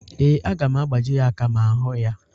Ee, aga m agbaji ya aka ma m hụ ya.